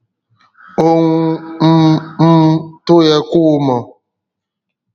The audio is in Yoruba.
òun um um tó yẹ kó mọ